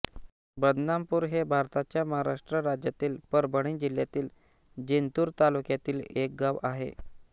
बदनापूर हे भारताच्या महाराष्ट्र राज्यातील परभणी जिल्ह्यातील जिंतूर तालुक्यातील एक गाव आहे